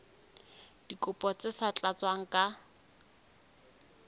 dikopo tse sa tlatswang ka